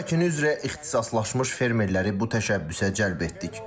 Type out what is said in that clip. Pomidor əkini üzrə ixtisaslaşmış fermerləri bu təşəbbüsə cəlb etdik.